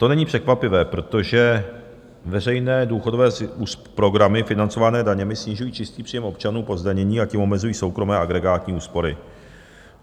To není překvapivé, protože veřejné důchodové programy financované daněmi snižují čistý příjem občanů po zdanění, a tím omezují soukromé agregátní úspory.